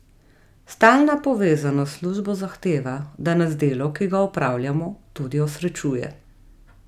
Stalna povezanost s službo zahteva, da nas delo, ki ga opravljamo, tudi osrečuje.